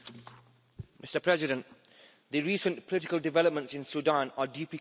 Mr President, the recent political developments in Sudan are deeply concerning.